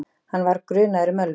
Hann var grunaður um ölvun.